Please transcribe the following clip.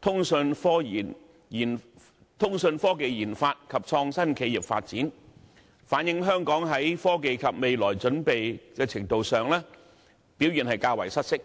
通訊科技研發及創新企業發展，反映香港在科技及未來準備的程度上表現較為失色。